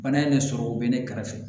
Bana in ne sɔrɔ o bɛ ne kɛrɛfɛ